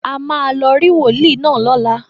A máa lọ rí wòólì náà lọ́la.